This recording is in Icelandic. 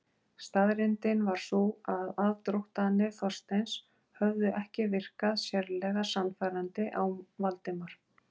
Staðreyndin var sú að aðdróttanir Þorsteins höfðu ekki virkað sérlega sannfærandi á Valdimar.